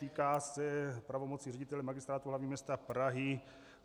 Týká se pravomoci ředitele Magistrátu hlavního města Prahy.